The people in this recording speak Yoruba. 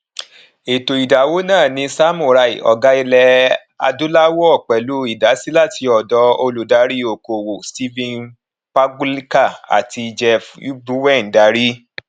ètò ìdáwó náà ní samurai ọgá ilẹ adúláwọ pèlú idasi láti òdò olùdarí okòwò stephen pagluica àti jeff ubbwn darí